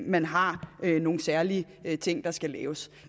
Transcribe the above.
man har nogle særlige ting der skal laves